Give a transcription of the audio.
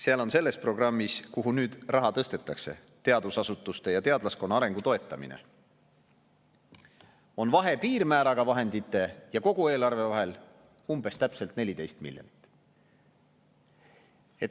Seal on selles programmis, kuhu nüüd raha tõstetakse, teadusasutuste ja teadlaskonna arengu toetamine, vahe piirmääraga vahendite ja kogu eelarve vahel umbes-täpselt 14 miljonit.